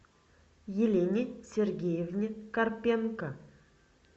елене сергеевне карпенко